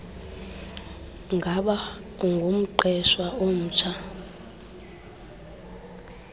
ngaba ungumqeshwa omtsha